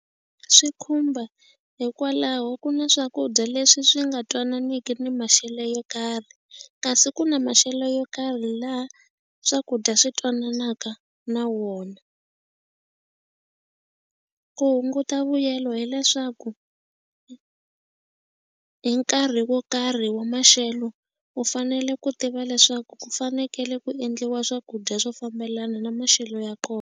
Swi khumba hikwalaho ku na swakudya leswi swi nga twananiku ni maxelo yo karhi kasi ku na maxelo yo karhi laha swakudya swi twananaka na wona. Ku hunguta vuyelo hileswaku hi nkarhi wo karhi wa maxelo u fanele ku tiva leswaku ku fanekele ku endliwa swakudya swo fambelana na maxelo ya kona.